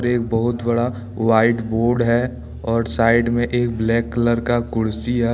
एक बहुत बड़ा व्हाइट बोर्ड है और साइड में एक ब्लैक कलर का कुर्सी है।